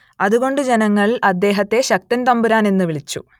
അതുകൊണ്ട് ജനങ്ങൾ അദ്ദേഹത്തെ ശക്തൻ തമ്പുരാൻ എന്നു വിളിച്ചു